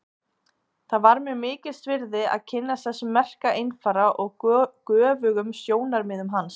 Það var mér mikils virði að kynnast þessum merka einfara og göfugum sjónarmiðum hans.